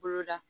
Boloda